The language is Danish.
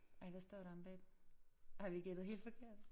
Ej hvad står der omme bagpå? Har vi gættet helt forkert?